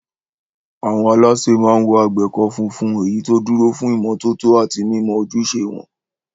Àwọn alásè máa ń wọ àgbékọ́ funfun, èyí tó dúró fún ìmọ́tótó àti mímọ ojúṣe wọn.